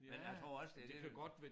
Men jeg tror også det